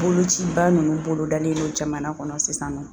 Bolociba nunnu bolodalen don jamana kɔnɔ sisan nɔ.